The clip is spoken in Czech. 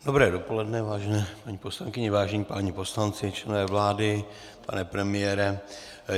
Dobré dopoledne, vážené paní poslankyně, vážení páni poslanci, členové vlády, pane premiére.